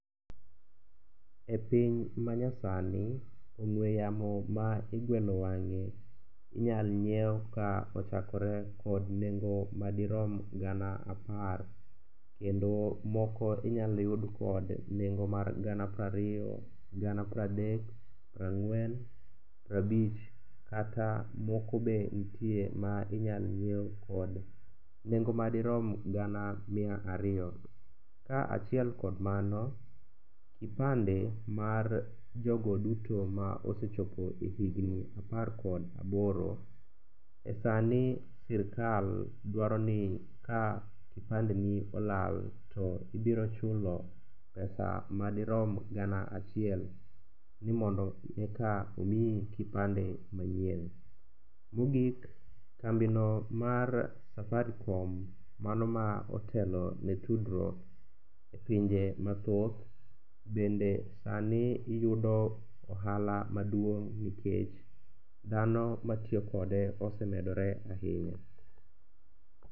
E piny ma nyasani, ong'we yamo ma igwelo wang'e inyal nyiew ka ochakore kod nengo madirom gana apar kendo moko inyal yud kod nengo mar gana prariyo, gana pradek, prang'wen, prabich kata moko be ntie ma inyal nyiew kod nengo madirom gana mia ariyo. Ka achiel kod mano, kipande mar jogo duto ma osechopo higni apar kod aboro, e sani sirikal dwaro ni ka kipandeni olal to ibiro chulo pesa madirom gana achiel ni mondo eka omiyi kipande manyien. Mogik kambino mar safaricom mano ma otelo ne tudruok e pinje mathoth bende sani yudo ohala maduong' nikech dhano matiyo kode osemedore ahinya.